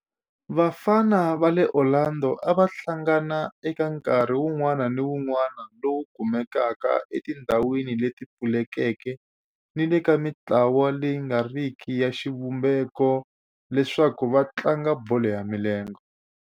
Vafana va le Orlando a va hlangana eka nkarhi wun'wana ni wun'wana lowu kumekaka etindhawini leti pfulekeke ni le ka mintlawa leyi nga riki ya xivumbeko leswaku va tlanga bolo ya milenge.